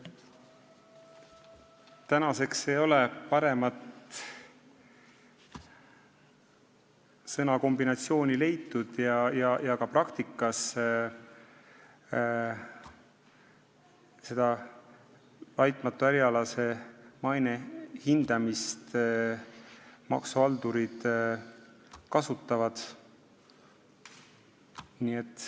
Praeguseks ei ole paremat sõnakombinatsiooni leitud ja ka praktikas kasutavad näiteks maksuhaldurid "laitmatu ärialase maine" hindamist.